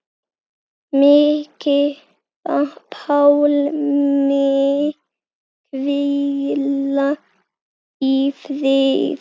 Megi Pálmi hvíla í friði.